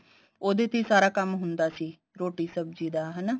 ਉਹਦੇ ਤੇ ਹੀ ਸਾਰਾ ਕੰਮ ਹੁੰਦਾ ਸੀ ਰੋਟੀ ਸਬਜੀ ਦਾ ਹਨਾ